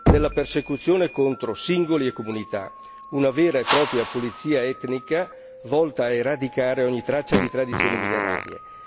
della persecuzione contro singoli e comunità una vera e propria pulizia etnica volta a eradicare ogni traccia di tradizioni millenarie.